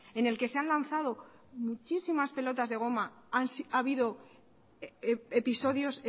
en el que se han lanzado muchísimas pelotas de goma ha habido episodios